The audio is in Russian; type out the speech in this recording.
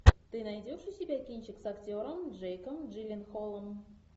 ты найдешь у себя кинчик с актером джейком джилленхолом